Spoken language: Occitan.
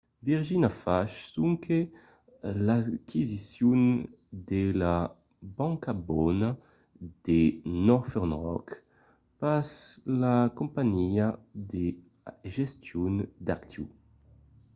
virgin a fach sonque l’aquisicion de la ‘banca bona’ de northern rock pas la companhiá de gestion d'actius